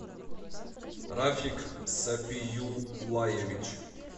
рафик сапиюлаевич